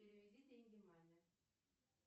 переведи деньги маме